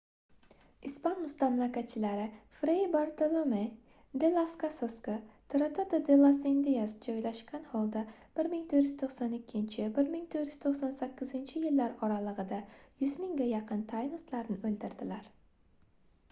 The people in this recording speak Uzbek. ispan mustamlakachilari frey bartolome de las casasga tratado de las indias joylashgan holda 1492–1498-yillar oralig'ida 100 mingga yaqin taynoslarni o'ldirdilar